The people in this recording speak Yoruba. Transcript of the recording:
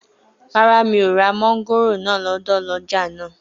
Rárá, mi ò ra mọ́ngòrò náà lọ́dọ̀ ọlọ́jà náà